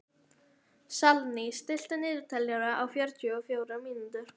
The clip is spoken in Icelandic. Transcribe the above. Salný, stilltu niðurteljara á fjörutíu og fjórar mínútur.